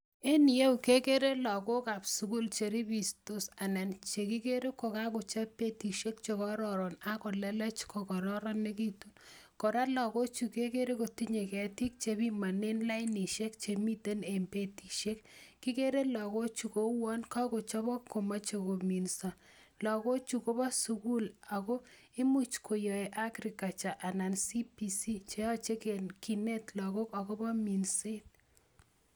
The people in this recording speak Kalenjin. En iyeu kekerer lakok ab sugul chekakochob betishek AK kolelech kokororonekitu . Kora lagochu kekere kotinyeu ketik chebinanen lainishek chemiten en betishek. Kikere lagochu kouan kakochabok komachei kominda. Lagochu Kobo sugul ago imuch koyaei agriculture anan CBC cheyachei kinet lagok agobo minset